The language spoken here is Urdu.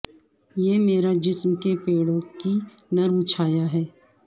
یہ میرا جسم کہ پیڑوں کی نرم چھایا ہے